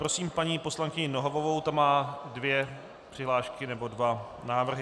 Prosím paní poslankyni Nohavovou, ta má dvě přihlášky nebo dva návrhy.